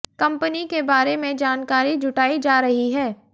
company के बारे में जानकारी जुटाई जा रही है